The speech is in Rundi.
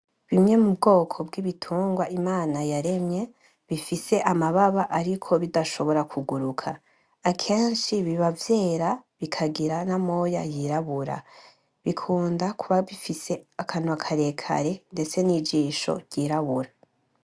Bimwe mu bwoko bw'ibitungwa imana yaremye bifise amababa ariko bidashobora kuguruka akeshi biba vyera bikagira n'amoya yirabura bikunda kuba bifise akanwa karekare ndetse n'ijisho ryirabura.